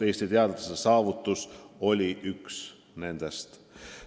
Eesti teadlaste saavutus oli üks nendest.